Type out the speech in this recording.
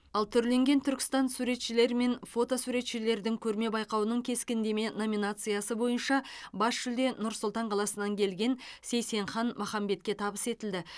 ал түрленген түркістан суретшілер мен фото суретшілердің көрме байқауының кескіндеме номинациясы бойынша бас жүлде нұр сұлтан қаласынан келген сейсенхан махамбетке табыс етілді